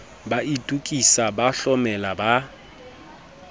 ba itokisa ba hlomela ba